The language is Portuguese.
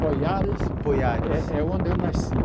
Poiares Poiares é é onde eu nasci.